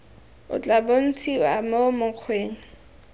o tla bontshiwa mo mokgweng